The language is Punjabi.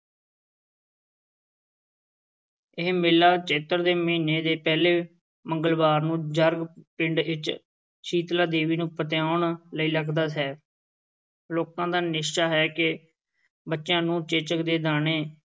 ਇਹ ਮੇਲਾ ਚੇਤਰ ਦੇ ਮਹੀਨੇ ਦੇ ਪਹਿਲੇ ਮੰਗਲਵਾਰ ਨੂੰ, ਜਰਗ ਪਿੰਡ ਵਿੱਚ ਸੀਤਲਾ ਦੇਵੀ ਨੂੰ ਪਤਿਆਉਣ ਲਈ ਲੱਗਦਾ ਹੈ, ਲੋਕਾਂ ਦਾ ਨਿਸ਼ਚਾ ਹੈ ਕਿ ਬੱਚਿਆਂ ਨੂੰ ਚੇਚਕ ਦੇ ਦਾਣੇ,